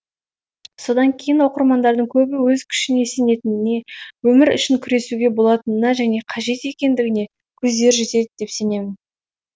содан кейін оқырмандардың көбі өз күшіне сенетініне өмір үшін күресуге болатынына және қажет екендігіне көздері жетеді деп сенемін